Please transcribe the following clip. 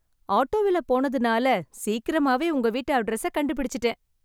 ஆட்டோவில் போனதுனால சீக்கிரமாவே உங்க வீட்டு அட்ரஸ் கண்டுபிடிச்சிட்டேன்.